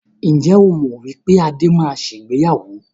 Ǹjẹ́ o mọ wípé Adé máa ṣe ìgbéyàwó?